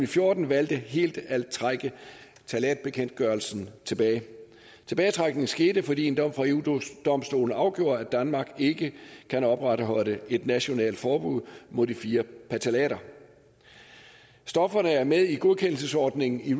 fjorten valgte helt at trække ftalatbekendtgørelsen tilbage tilbagetrækningen skete fordi en dom fra eu domstolen afgjorde at danmark ikke kan opretholde et nationalt forbud mod de fire ftalater stofferne er med i godkendelsesordningen i